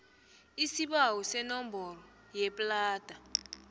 isibawo senomboro yeplada